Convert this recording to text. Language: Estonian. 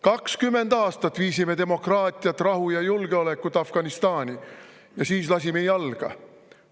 20 aastat viisime demokraatiat, rahu ja julgeolekut Afganistani ja siis lasime jalga.